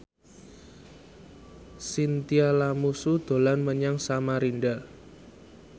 Chintya Lamusu dolan menyang Samarinda